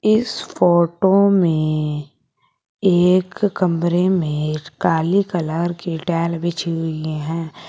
इस फोटो में एक कमरे में काली कलर की टाइल बिछी हुई है।